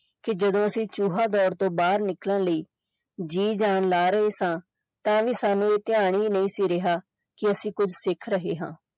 ਕਿ ਜਦੋਂ ਅਸੀਂ ਚੂਹਾ ਦੌੜ ਤੋਂ ਬਾਹਰ ਨਿਕਲਣ ਲਈ ਜੀ ਜਾਨ ਲਾ ਰਹੇ ਸਾਂ ਤਾਂ ਵੀ ਸਾਨੂੰ ਧਿਆਨ ਹੀ ਨਹੀਂ ਸੀ ਰਿਹਾ ਕਿ ਅਸੀਂ ਕੁਝ ਸਿੱਖ ਰਹੇ ਹਾਂ।